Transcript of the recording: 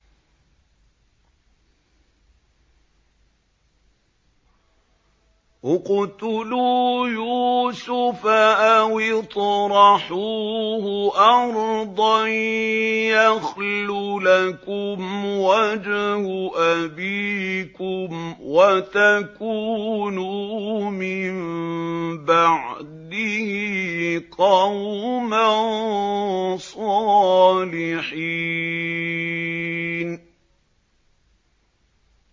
اقْتُلُوا يُوسُفَ أَوِ اطْرَحُوهُ أَرْضًا يَخْلُ لَكُمْ وَجْهُ أَبِيكُمْ وَتَكُونُوا مِن بَعْدِهِ قَوْمًا صَالِحِينَ